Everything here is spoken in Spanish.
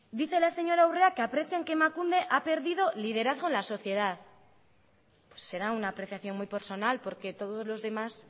dice la señora urrea que aprecian que emakunde ha perdido liderazgo en la sociedad será una apreciación muy personal porque todos los demás